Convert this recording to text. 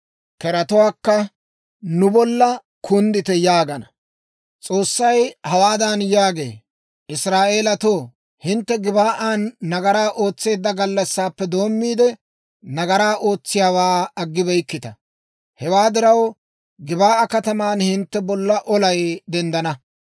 S'oossay hawaadan yaagee; «Israa'eelatoo, hintte Gib"an nagaraa ootseedda gallassaappe doommiide, nagaraa ootsiyaawaa aggibeykkita. Hewaa diraw, Gib'aa kataman hintte bolla olay denddana.